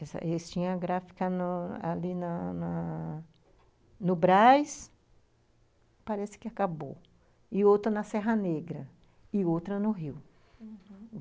Eles tinham a gráfica no ali na na no Braz, parece que acabou, e outra na Serra Negra, e outra no Rio, uhum.